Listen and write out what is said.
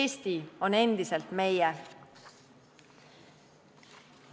Eesti on endiselt meie.